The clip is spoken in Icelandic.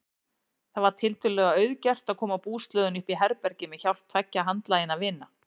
Það var tiltölulega auðgert að koma búslóðinni uppí herbergið með hjálp tveggja handlaginna vina.